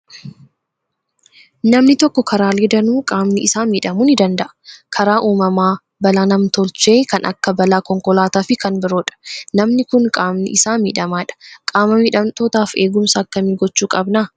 Namni tokko karaalee danuu qaamni isaa miidhamuu ni danda'a. Karaa uumamaa, balaa nam tolchee kan akka balaa konkolaataa fi kan biroodha. Namni kun qaamni isaa miidhamaadha. Qaama miidhamtootaaf eegumsa akkamii gochuu qabna?